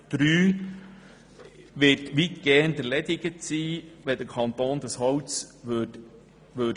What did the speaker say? Der Antrag wäre weitgehend erledigt, wenn der Kanton das Holz liefern würde.